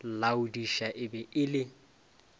laodiša e be e le